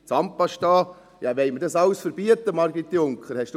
Zahnpasta: Ja, wollen wir das alles verbieten, Margrit Junker?